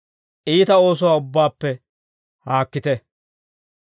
Iita oosuwaa ubbaappe haakkite.